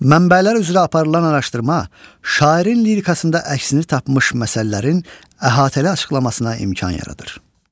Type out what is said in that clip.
Mənbələr üzrə aparılan araşdırma, şairin lirikasında əksini tapmış məsələlərin əhatəli açıqlamasına imkan yaradır.